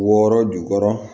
Wɔɔrɔ jukɔrɔ